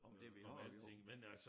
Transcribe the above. Om det vi har